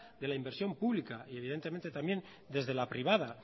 de la inversión pública y evidentemente también desde la privada